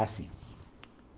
Ah, sim.